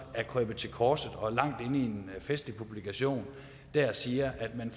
er krøbet til korset og langt inde i en festlig publikation siger at man